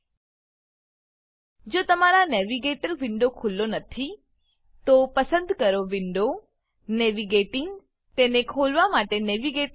જો તમારા navigator navigator window ખુલ્લો નથી તો પસંદ કરો વિન્ડો વિન્ડો નેવિગેટિંગ નેવીગેટીંગ તેને ખોલવા માટે નેવિગેટર નેવીગેટર